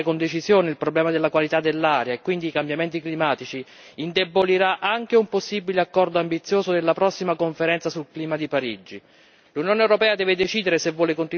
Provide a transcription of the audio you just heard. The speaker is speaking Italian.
Guardate che la mancanza di volontà di affrontare con decisione il problema della qualità dell'aria e quindi i cambiamenti climatici indebolirà anche un possibile accordo ambizioso della prossima conferenza sul clima di Parigi.